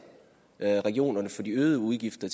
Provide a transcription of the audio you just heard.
regionerne for de øgede udgifter